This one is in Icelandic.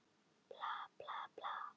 Kannske vakti raddblærinn einhvern enduróm.